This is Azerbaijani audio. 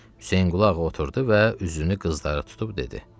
Hüseynqulu ağa oturdu və üzünü qızlara tutub dedi: